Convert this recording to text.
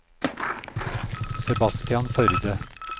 Sebastian Førde